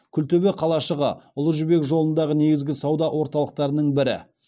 күлтөбе қалашығы ұлы жібек жолындағы негізгі сауда орталықтарының бірі